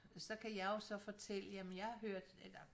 Så kan jeg jo så fortælle jamen jeg har hørt eller